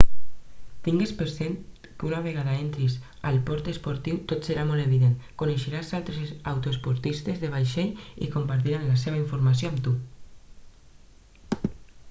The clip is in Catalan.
tingues per cert que una vegada entris al port esportiu tot serà molt evident coneixeràs altres autoestopistes de vaixell i compartiran la seva informació amb tu